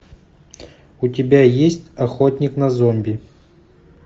у тебя есть охотник на зомби